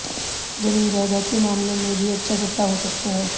जमीन जायदाद के मामले में भी अच्छा सप्ताह हो सकता है